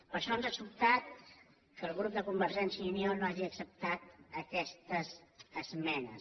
per això ens ha sobtat que el grup de convergència i unió no hagi ac·ceptat aquestes esmenes